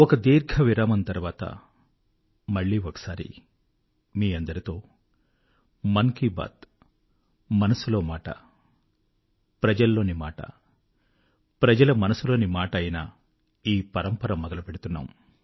ఒక దీర్ఘ విరామము తర్వాత మళ్ళీ ఒకసారి మీ అందరితో మన్ కీ బాత్ మనసులో మాట జనులలోని మాట జనుల మనసులోని మాట ఐన ఈ పరంపర మొదలుపెడుతున్నాము